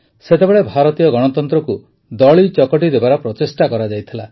ସେତେବେଳେ ଭାରତୀୟ ଗଣତନ୍ତ୍ରକୁ ଦଳିଚକଟି ଦେବାର ପ୍ରଚେଷ୍ଟା କରାଯାଇଥିଲା